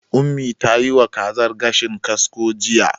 Ummi ta yiwa wa kazar gashin kasko jiya.